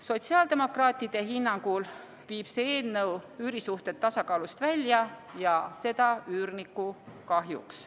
Sotsiaaldemokraatide hinnangul viib see eelnõu üürisuhted tasakaalust välja, ja seda üürniku kahjuks.